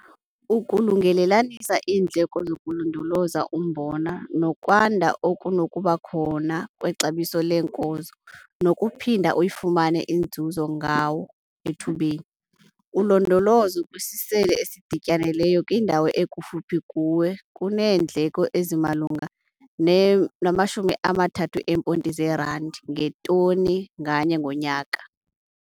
Ukulungelelanisa iindleko zokulondoloza umbona nokwanda okunokuba khona kwexabiso leenkozo nonokuphinda uyifumane inzuzo ngawo ethubeni. Ulondolozo kwisisele esidityanelweyo kwindawo ekufuphi kuwe kuneendleko ezimalunga ne-R30 ngetoni nganye ngonyaka.